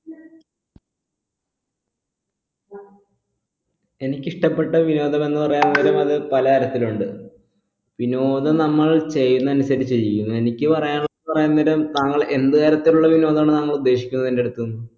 എനിക്കിഷ്ടപ്പെട്ട വിനോദം എന്ന് പറയാനുള്ളത് അത് പലതരത്തിലുണ്ട് വിനോദം നമ്മൾ ചെയ്യുന്നതനുസരിച്ചിരിക്കും എനിക്ക് പറയാനുള്ള താങ്കൾ എന്ത് കാര്യത്തിലുള്ള വിനോദാണ് താങ്കൾ ഉദ്ദേശിക്കുന്നത് എന്റെ അടുത്ത നിന്ന്